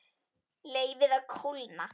Leyfið að kólna.